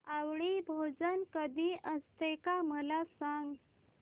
आवळी भोजन कधी असते मला सांग